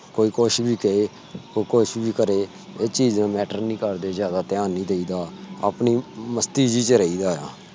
ਕੋਈ ਕੁੱਛ ਵੀ ਕਹੇ ਕੋਈ ਕੁੱਛ ਵੀ ਕਰੇ ਕੋਈ ਚੀਜ matter ਨਹੀਂ ਕਰਦੀ। ਜਿਆਦਾ ਦਿਹਾਨ ਨਹੀਂ ਦੇਈ ਦਾ ਆਪਣੀ ਮਸਤੀ ਜੀ ਚ ਰਹੀ ਦਾ